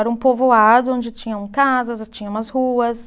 Era um povoado onde tinham casas, tinha umas ruas.